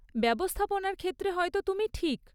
ব্যবস্থাপনার ক্ষেত্রে হয়তো তুমি ঠিক।